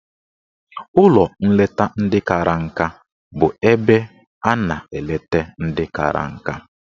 Ụlọ nleta ndị kara nka bụ ebe a na-eleta ndị kara nka.